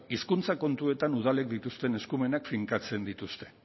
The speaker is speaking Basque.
hizkuntza kontuetan udalek dituzten eskumenak finkatzen dituzte